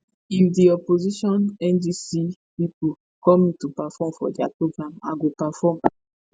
if di opposition ndc pipo call me to perform for dia programme i go perform